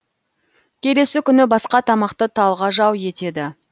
келесі күні басқа тамақты талғажау етеді